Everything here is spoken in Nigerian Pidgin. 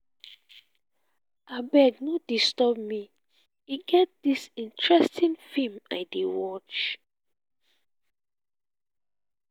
abeg no disturb me e get dis interesting film i dey watch